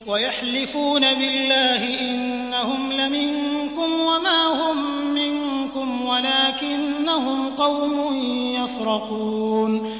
وَيَحْلِفُونَ بِاللَّهِ إِنَّهُمْ لَمِنكُمْ وَمَا هُم مِّنكُمْ وَلَٰكِنَّهُمْ قَوْمٌ يَفْرَقُونَ